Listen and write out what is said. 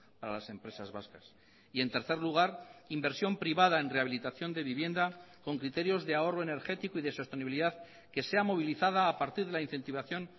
para las empresas vascas y en tercer lugar inversión privada en rehabilitación de vivienda con criterios de ahorro energético y de sostenibilidad que sea movilizada a partir de la incentivación